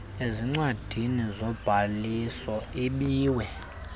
ezincwadini zobhaliso ibiwe